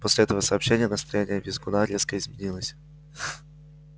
после этого сообщения настроение визгуна резко изменилось